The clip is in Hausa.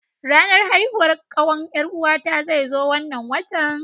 Ranar haihuwar kakkawan 'Yar'uwata zai zo wannan watan.